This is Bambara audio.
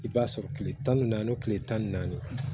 I b'a sɔrɔ kile tan ni naani kile tan ni naani